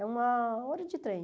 É uma hora de trem.